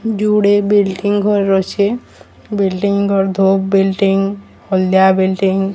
ଯୁଡେ ବିଲ୍ଡିଂ ଘରର ଅଛି ବିଲ୍ଡିଂ ବିଲ୍ଡିଂ ହଳଦିଆ ବିଲ୍ଡିଂ --